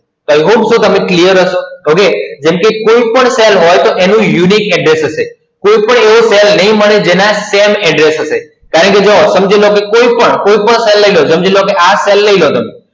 I hope so તમે Clear હશો? હવે, જેમ કે કોઈ પણ Cell હોય, તો એનું Uniqe address હશે. કોઈ પણ એવો Cell નહીં મળે જેના Same address હશે. કારણકે જુઓ માથી કોઈ પણ, કોઈ પણ Cell લઈ લો, સમજી લો આ Cell લઈ લો તમે